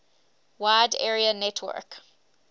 wide area network